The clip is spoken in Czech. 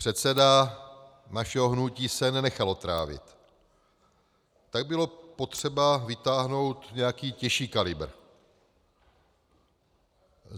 Předseda našeho hnutí se nenechal otrávit, tak bylo potřeba vytáhnout nějaký těžší kalibr.